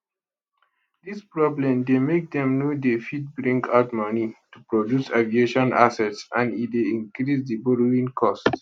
dis problem dey make dem no dey fit bring out money to produce aviation assets and e dey increase di borrowing cost